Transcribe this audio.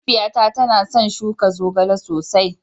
Mahaifiyata tana son shuka zogale sosai